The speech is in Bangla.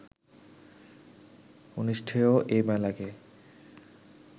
অনুষ্ঠেয় এই মেলাকে